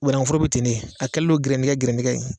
Banaŋuforo be ten de, a kɛlen do gɛrɛndigɛ gɛrɛndigɛ ye